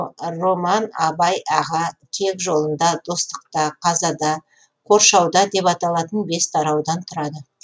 роман абай аға кек жолында достықта қазада қоршауда деп аталатын бес тараудан тұрады